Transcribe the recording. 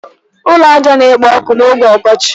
Ụlọ ájá na-ekpo ọkụ oge ọkọchị.